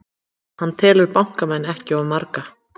Hann telur bankamenn ekki of marga